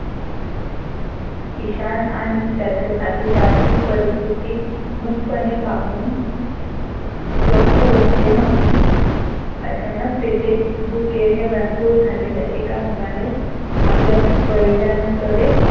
ईशान आणि त्याचे साथीदार ही परिस्थिती नुसते पाहून गप्प बसले नव्हते. अचानक तेथे भुकेने व्याकुळ झालेले एका मुलाने आपल्या वडिलांकडे